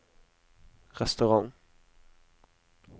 restaurant